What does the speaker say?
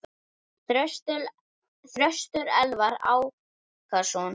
Þröstur Elvar Ákason.